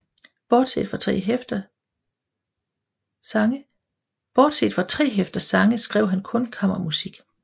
Bortset fra tre hæfter sange skrev han kun kammermusik